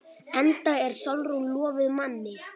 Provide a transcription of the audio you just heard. Enda er Sólrún lofuð manni.